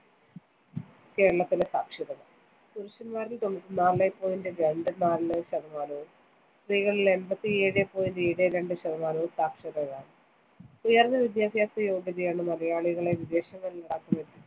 കേരളത്തിലെ സാക്ഷരത. പുരുഷൻമാരിൽ നാല് point രണ്ട് നാല് ശതമാനവും സ്‌ത്രീകളിൽ എൺപത്തിയേഴ് point ഏഴ് രണ്ട് ശതമാനവും സാക്ഷരരാണ്‌. ഉയർന്ന വിദ്യാഭ്യാസ യോഗ്യതയാണ്‌ മലയാളികളെ വിദേശങ്ങളിൽ .